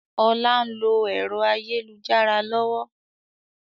Ọlá ń lo ẹ̀rọ ayélujára lọ́wọ́